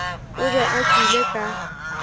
o be a tšwele ka